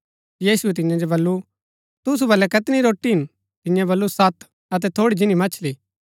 यीशुऐ तियां जो बल्लू तुसु बलै कैतनी रोटी हिन तियें बल्लू सत अतै थोड़ी जिनी मछली